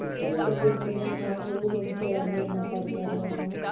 ਜਦੋਂ ਦੇ ਨਿਆਣੇ ਹੋਏ ਉਦੋਂ ਬਥੇਰਾ ਮੇਰੇ ਨਾਲ ਕਰਦਾ ਰਿਹਾ ਵਾ